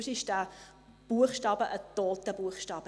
Sonst ist der Buchstabe im PolG ein toter Buchstabe.